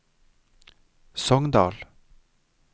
Sogndal